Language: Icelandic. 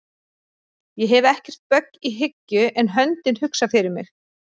Ég hef ekkert bögg í hyggju en höndin hugsar fyrir mig